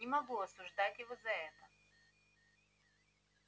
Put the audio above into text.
не могу осуждать его за это